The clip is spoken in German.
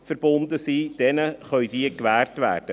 Diesen kann dies gewährt werden.